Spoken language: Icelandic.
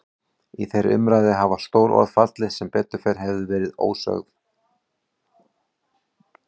Í þeirri umræðu hafa stór orð fallið sem betur hefðu verið ósögð.